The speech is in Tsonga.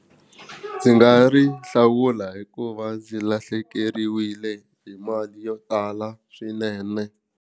Ndzi nga ri hlawula hikuva ndzi lahlekeriwile hi mali yo tala swinene.